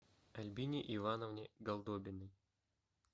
альбине ивановне голдобиной